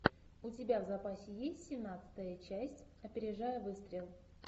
у тебя в запасе есть семнадцатая часть опережая выстрел